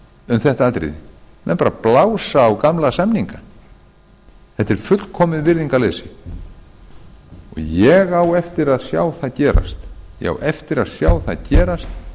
um þetta atriði menn bara blása á gamla samninga þetta er fullkomið virðingarleysi ég á eftir að sjá það gerast